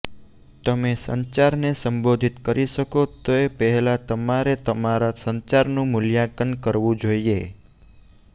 તમે સંચારને સંબોધિત કરી શકો તે પહેલાં તમારે તમારા સંચારનું મૂલ્યાંકન કરવું જોઈએ